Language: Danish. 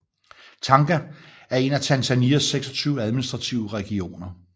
Tanga er en af Tanzanias 26 administrative regioner